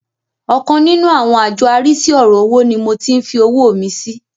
Ọkan nínú àwọn àjọ arísí ọ̀rọ̀ owó ni mo tí ń fi owó mi sí.